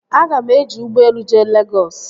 Aga m eji ụgbọelu jee Legọs